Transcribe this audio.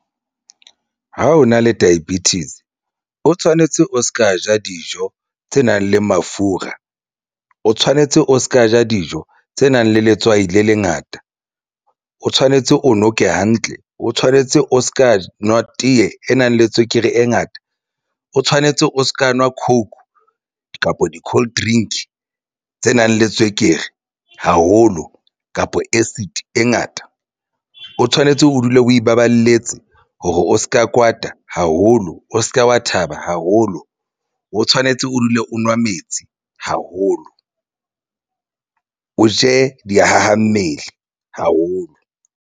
Ha o na le diabetics o tshwanetse o se ka ja dijo tse nang le mafura, o tshwanetse o se ka ja dijo tse nang le letswai le lengata. O tshwanetse o noke hantle o tshwanetse o se ka nwa tee e nang le tswekere e ngata, o tshwanetse o se ka nwa coke kapa di coldrink tse nang le tswekere haholo kapa acid e ngata. O tshwanetse o dule o ipaballetse hore o se ka kwata haholo. O se ke wa thaba haholo o tshwanetse o dule o nwa metsi haholo, o je dihaha mmele haholo.